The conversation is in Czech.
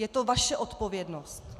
Je to vaše odpovědnost.